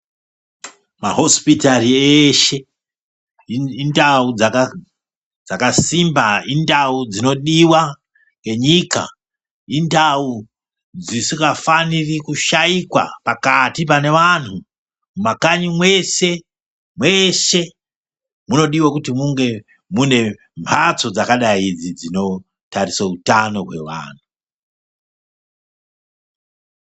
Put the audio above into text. Mahosipitari eshe indau dzakasimba indau dzinodiwa ngenyika indawu dzisingafaniri kushaikwa pakati panevantu, mumakanyi mweshe, mweshe munodiwe kunge mune mbatso dzakadai idzi dzinotarisa utano hwevantu.